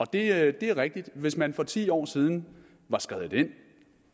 det er er rigtigt at hvis man for ti år siden var skredet ind